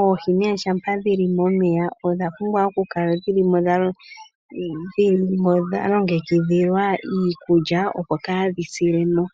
Oohi ngele dhili momeya odha pumbwa okukala dhili mo dha longekidhilwa iikulya opo kaadhi sile mo.